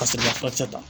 Ka sɔrɔ ka furakisɛ ta